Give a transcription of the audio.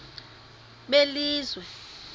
belizwe